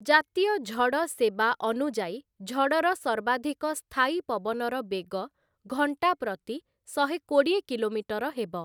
ଜାତୀୟ ଝଡ଼ ସେବା ଅନୁଯାୟୀ ଝଡ଼ର ସର୍ବାଧିକ ସ୍ଥାୟୀ ପବନର ବେଗ ଘଣ୍ଟା ପ୍ରତି ଶହେ କୋଡିଏ କିଲୋମିଟର ହେବ ।